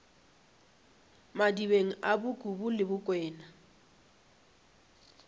madibeng a bokubu le bokwena